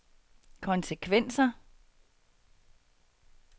konsekvenser